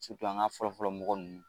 an ka fɔlɔfɔlɔ mɔgɔ nunnu